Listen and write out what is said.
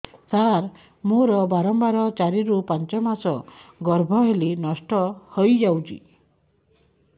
ସାର ମୋର ବାରମ୍ବାର ଚାରି ରୁ ପାଞ୍ଚ ମାସ ଗର୍ଭ ହେଲେ ନଷ୍ଟ ହଇଯାଉଛି